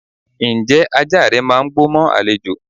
Ǹjẹ́ ajá rẹ máà ń gbó mọ́ àlejò?